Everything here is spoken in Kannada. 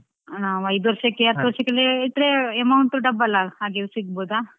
ನಾವ್ ಐದು ವರ್ಷಕ್ಕೆ ಹತ್ತು ವರ್ಷಕ್ಕೆ ಎಲ್ಲ ಇಟ್ರೆ amount double ಆಗಿ ಸಿಗ್ಬಹುದಾ?